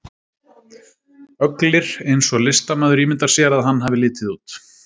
Öglir eins og listamaður ímyndar sér að hann hafi litið út.